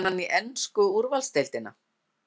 Fer hann í ensku úrvalsdeildina?